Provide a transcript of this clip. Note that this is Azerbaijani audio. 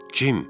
Kim?